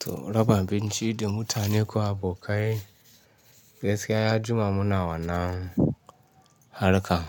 To raba abinci da mutane ko abokai gaskiya ya jima muna wannan harka.